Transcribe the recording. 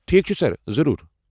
ٹھیک چھُ سر، ضروٗر۔